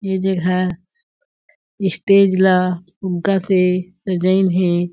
ये जगह स्टेज ला फुग्गा से सजाइन हे।